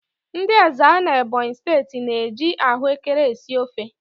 Ndị Ezza n'Ebonyi steeti na-eji ahụekere esi ofe.